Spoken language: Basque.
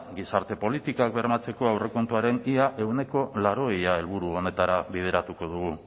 gizarte politikak bermatzeko aurrekontuaren ehuneko laurogei helburu horretara bideratuko